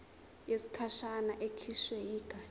yesikhashana ekhishwe yigatsha